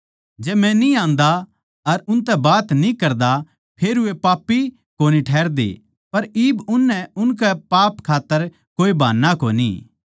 जै मै न्ही आंदा अर उनतै बात न्ही करदा फेर वे पापी कोनी ठहरदे पर इब उननै उनकै पाप खात्तर कोए बहान्ना कोनी